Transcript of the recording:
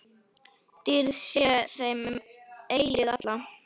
Dýrð sé þeim um eilífð alla.